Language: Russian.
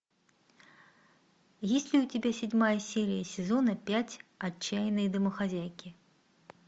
есть ли у тебя седьмая серия сезона пять отчаянные домохозяйки